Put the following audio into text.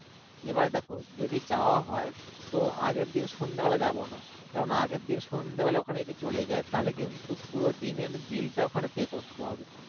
এবার দেখ যদি যাওয়া হয় তো আগের দিন সন্ধ্যা বেলা যাবো না কারণ আগের দিন সন্ধ্যা বেলা ওখানে যদি চলে যায় তাহলে কিন্তু পুরো দিনের bill টা ওখানে pay করতে হবে